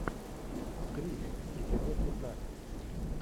гримм эпизод пятнадцать